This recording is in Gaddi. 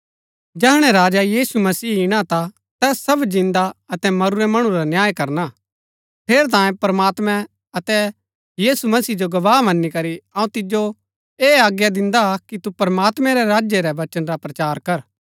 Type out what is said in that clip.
जैहणै राजा यीशु मसीह इणा ता तैस सब जिन्दा अतै मरूरै मणु रा न्याय करना ठेरैतांये प्रमात्मैं अतै यीशु मसीह जो गवाह मन्‍नी करी अऊँ तिजो ऐह आज्ञा दिन्दा कि तू प्रमात्मैं रै राज्य रै वचन रा प्रचार कर